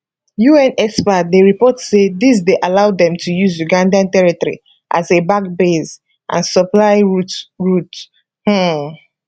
un experts dey report say dis dey allow dem to use uganda territory as a back base and supply route route um